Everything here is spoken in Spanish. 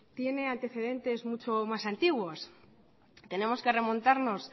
tiene antecedentes mucho más antiguos tenemos que remontarnos